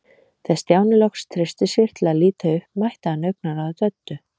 Þegar Stjáni loks treysti sér til að líta upp mætti hann augnaráði Döddu.